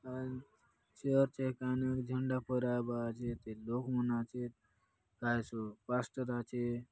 ये चर्च आय कायनुक झण्डा फैराय बा आचेत ये लोग मन आचेत कायतो पास्टर आचे।